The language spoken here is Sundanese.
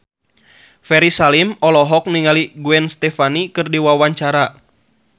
Ferry Salim olohok ningali Gwen Stefani keur diwawancara